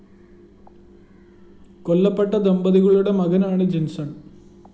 കൊല്ലപ്പെട്ട ദമ്പതികളുടെ മകനാണ് ജീന്‍സണ്‍